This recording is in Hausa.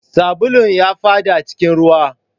Sabulun ya faɗa cikin ruwa